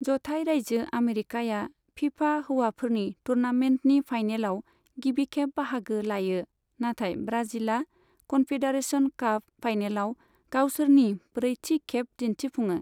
जथाइ राज्यो आमेरिकाया फिफा हौवाफोरनि टुर्नामेन्टनि फाइनेलआव गिबिखेब बाहागो लायो, नाथाइ ब्राजिलआ कन्फेडारेशन काप फाइनेलआव गावसोरनि ब्रैथि खेब दिन्थिफुङो।